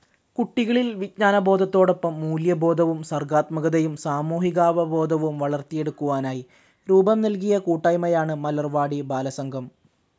കുട്ടികളിൽ വിജ്ഞാനത്തോടൊപ്പം മൂല്യബോധവും സർഗാത്മകതയും സാമൂഹികാവബോധവും വളർത്തിയെടുക്കുവാനായി രൂപം നൽകിയ കൂട്ടായ്മയാണ് മലർവാടി ബാലസംഘം.